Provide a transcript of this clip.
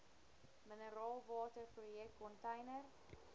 mineraalwater projek container